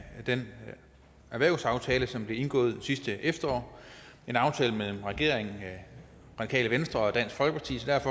den erhvervsaftale som blev indgået sidste efterår en aftale mellem regeringen det radikale venstre og at